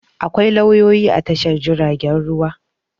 Akwai lauyoyi a Tashar jiaragen ruwa.